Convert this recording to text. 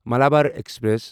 Malabar express